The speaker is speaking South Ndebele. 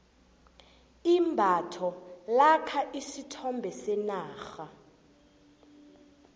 imbatho lakha isithombe senarha